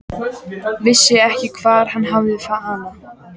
Vissi ekki hvar hann hafði hana.